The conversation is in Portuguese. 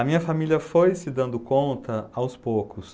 A minha família foi se dando conta aos poucos.